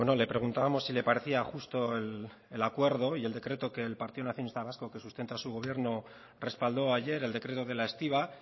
le preguntábamos sí le parecía justo el acuerdo y el decreto que el partido nacionalista vasco que sustenta su gobierno respaldo ayer el decreto de la estiba